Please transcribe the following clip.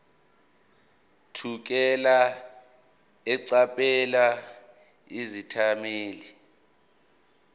thukela eqaphela izethameli